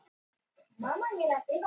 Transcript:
Einn strengur falskur.